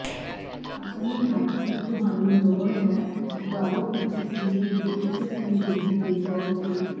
ਆਪਣੇ ਹੱਥ ਦੀ ਤੁਹਾਨੂੰ ਲੋੜ ਹੈ ਉਭਾਰੋ ਅਤੇ ਸਰੀਰ ਦੇ ਇੱਕ ਸਹਿਯੋਗੀ ਦੇ ਤੌਰ ਤੇ